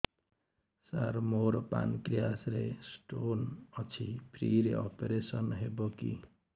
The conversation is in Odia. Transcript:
ସାର ମୋର ପାନକ୍ରିଆସ ରେ ସ୍ଟୋନ ଅଛି ଫ୍ରି ରେ ଅପେରସନ ହେବ କି